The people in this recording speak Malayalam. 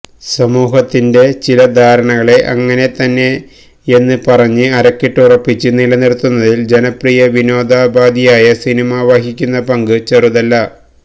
സമൂഹത്തിന്റെ ചില ധാരണകളെ അങ്ങനെത്തന്നെയന്ന് പറഞ്ഞ് അരക്കിട്ടുറപ്പിച്ച് നിലനിറുത്തുന്നതിൽ ജനപ്രിയ വിനോദാപാധി ആയ സിനിമ വഹിക്കുന്ന പങ്ക് ചെറുതല്ല